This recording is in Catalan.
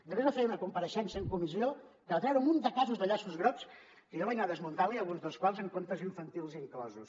després va fer una compareixença en comissió que va treure un munt de casos de llaços grocs que jo vaig anar desmuntant li alguns dels quals amb contes infantils inclosos